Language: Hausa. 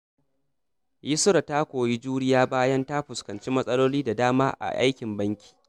Yusra ta koyi juriya bayan ta fuskanci matsaloli da dama a aikin banki.